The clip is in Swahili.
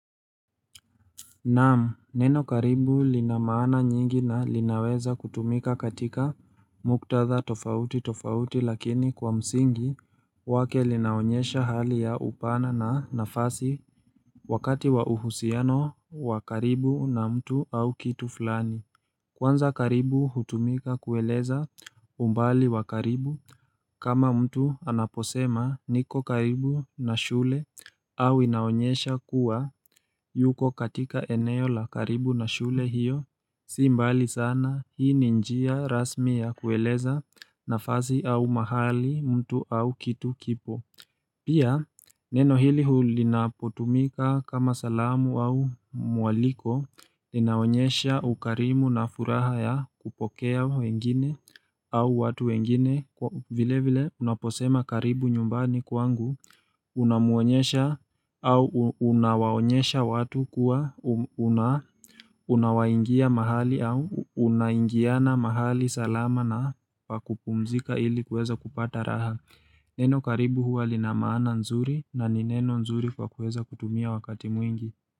Naam, neno karibu lina maana nyingi na linaweza kutumika katika muktatha tofauti tofauti lakini kwa msingi wake linaonyesha hali ya upana na nafasi wakati wa uhusiano wa karibu na mtu au kitu fulani. Kwanza karibu hutumika kueleza umbali wa karibu kama mtu anaposema niko karibu na shule au inaonyesha kuwa yuko katika eneo la karibu na shule hiyo Si mbali sana hii ni njia rasmi ya kueleza nafasi au mahali mtu au kitu kipo Pia, neno hili huli napotumika kama salamu au mwaliko, linaonyesha ukarimu na furaha ya kupokea wengine au watu wengine, vile vile unaposema karibu nyumbani kwangu, unamuonyesha au unawaonyesha watu kuwa unawaingia mahali au unaingiana mahali salama na pakupumzika ili kuweza kupata raha Neno karibu huwa lina maana nzuri na ni neno nzuri kwa kueza kutumia wakati mwingi.